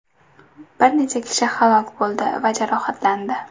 Bir necha kishi halok bo‘ldi va jarohatlandi.